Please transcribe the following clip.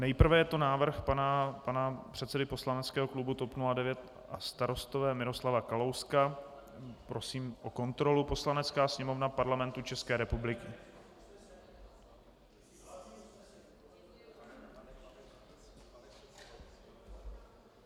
Nejprve je to návrh pana předsedy poslaneckého klubu TOP 09 a Starostové Miroslava Kalouska - prosím o kontrolu: Poslanecká sněmovna Parlamentu České republiky...